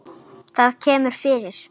Það kemur fyrir.